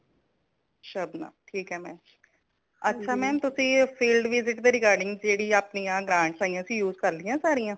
ਸ਼ਬਨਮ ਠੀਕ ਹੈ ma'am ਅੱਛਾ ma'am ਤੁਸੀਂ field visit ਦੇ regarding ਜੇੜੀ ਅਪਣੀ ਆ grants ਆਇਆਂ ਸੀ use ਕਰਲੀ ਆਂ ਸਾਰੀਆਂ